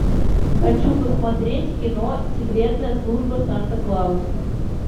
хочу посмотреть кино секретная служба санта клауса